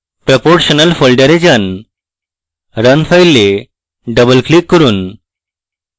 proportional folder যান run file double click করুন